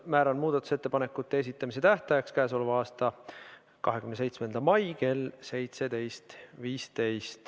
Määran muudatusettepanekute esitamise tähtajaks k.a 27. mai kell 17.15.